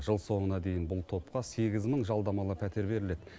жыл соңына дейін бұл топқа сегіз мың жалдамалы пәтер беріледі